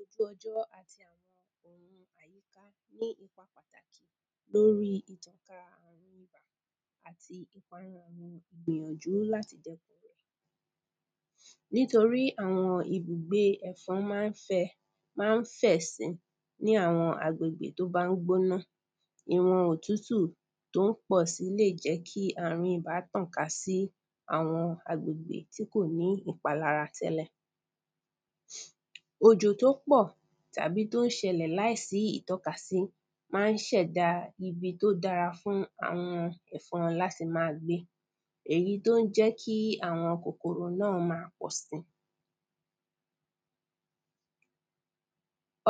ojú ọjọ́ àti àwọn ohun àyíká ní ipa pàtàkì lórí ìtànká àrùn ibà àti ìgbìyànjú láti dẹ́kun rẹ̀ nítorí àwọn ibùgbé ẹ̀fọn máa ń fẹ, máa ń fẹ̀ si ní àwọn agbègbè tó bá ń gbóná ìwọn òtútù tó ń pọ̀ si lè jẹ́ kí àrùn ibà tàn ká ní àwọn agbègbè tí kò sí ìpalára tẹ́lẹ̀ òjò tó pọ̀ tàbí tó ń ṣẹlẹ̀ láìsí ìtọ́ka sí máa ń ṣẹ̀dá ibi tó dára fún àwọn ẹ̀fọn láti máa gbé èyí tó ń jẹ́ kí àwọn kòkòrò náà máa pọ̀ si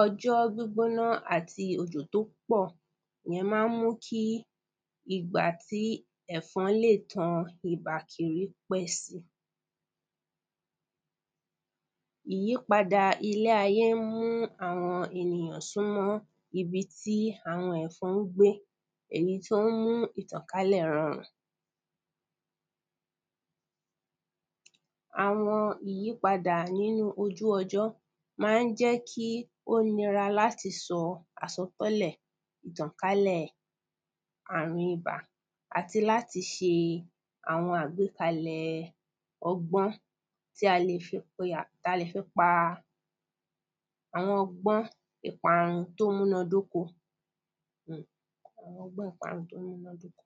ọjọ́ gbígbóná àti òjò tó pọ̀, ìyẹn máa ń mú kí ìgbà tí ẹ̀fọn lè tan ibà kiri pẹ́ si ìyípadà ilé ayé ń mú àwọn ènìyàn súnmọ́ ibi tí àwọn ẹ̀fọn ń gbé, èyí tó ń mú ìtànkálẹ̀ rọrùn àwọn ìyípadà nínú ojú ọjọ́ máa ń jẹ́ kí ó nira láti sọ àsọtẹ́lẹ̀ ìtànkálẹ̀ àrùn ibà àti láti ṣe àwọn àgbékalẹ̀ ọgbọ́n tí a lè fi piya, ta lè fi pa, àwọn ọgbọ́n ìparun tó múná dóko um àwọn ọgbọ́n ìparun tó múná dóko-